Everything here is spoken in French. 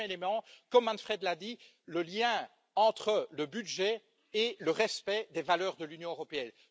Deuxième élément, comme Manfred l'a dit, le lien entre le budget et le respect des valeurs de l'Union européenne.